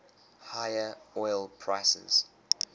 higher oil prices